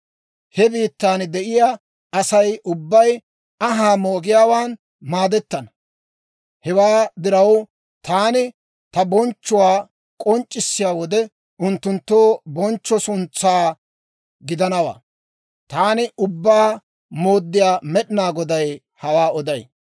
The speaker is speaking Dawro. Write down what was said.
He biittan de'iyaa Asay ubbay anhaa moogiyaawaan maadettana; hewaa diraw, taani ta bonchchuwaa k'onc'issiyaa wode unttunttoo bonchcho suntsaa gidanawaa. Taani Ubbaa Mooddiyaa Med'inaa Goday hawaa oday.